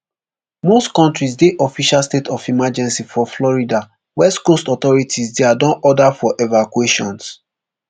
most counties dey official state of emergency for florida west coast authorities dia don order for evacuations